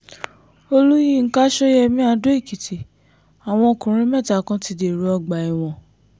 olùyinka ṣọ́yẹ́mi adó-èkìtì àwọn ọkùnrin mẹ́ta kan ti dèrò ọgbà ẹ̀wọ̀n